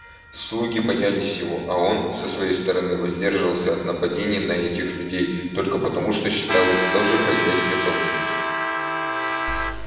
слуги боялись его а он со своей стороны воздерживался от нападений на этих людей только потому что считал их тоже хозяйской собственностью